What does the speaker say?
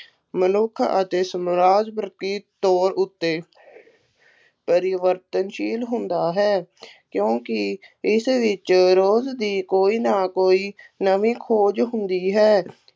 ਮਨੁੱਖ ਅਤੇ ਸਮਾਜ ਪ੍ਰਤੀ ਤੋਰ ਉੱਤੇ ਪਰਿਵਰਤਨਸ਼ੀਲ ਹੁੰਦਾ ਹੈ ਕਿਉਂਕਿ ਇਸ ਵਿੱਚ ਰੋਜ਼ ਦੀ ਕੋਈ ਨਾ ਕੋਈ ਨਵੀਂ ਖੋਜ ਹੁੰਦੀ ਹੈ